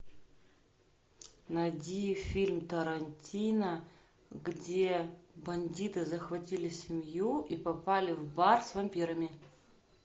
найди фильм тарантино где бандиты захватили семью и попали в бар с вампирами